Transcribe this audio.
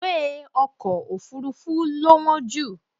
ìwé Ọkọ̀ òfurufú lo wọ́n jù.